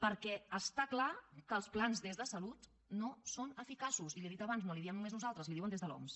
perquè està clar que els plans des de salut no són eficaços i li ho he dit abans no li ho diem només nosaltres li ho diuen des de l’oms